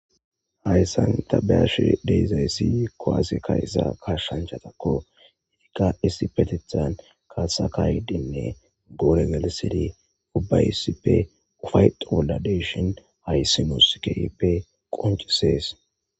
Hays santabash deizayssiy koase ka isa ka shanjhatako irika isipetethan kasakawidinne gore gelisedi ubbaysipe ufaytowoladeshon hayssi muskeepe qoncesees.